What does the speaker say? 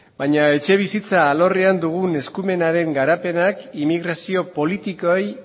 baina etxebizitza alorrean dugun eskumenaren garapenak inmigrazio politikoei